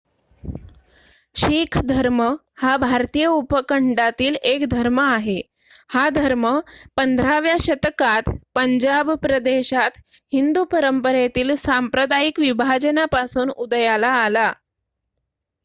शीख धर्म हा भारतीय उपखंडातील एक धर्म आहे हा धर्म 15 व्या शतकात पंजाब प्रदेशात हिंदू परंपरेतील सांप्रदायिक विभाजनापासून उदयाला आला